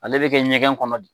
Ale bɛ kɛ ɲɛgɛn kɔnɔ de